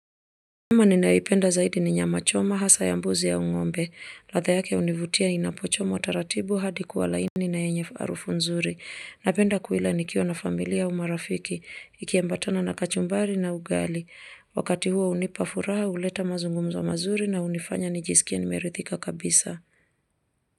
Nyama ninayoipenda zaidi ni nyama choma, hasa ya mbuzi au ng'ombe. Ladha yake hunivutia inapochomwa taratibu hadi kuwa laini na yenye harufu nzuri. Napenda kuila nikiwa na familia au marafiki. Ikiambatana na kachumbari na ugali. Wakati huo hunipa furaha, huleta mazungumzo mazuri na hunifanya nijisikie nimeridhika kabisa.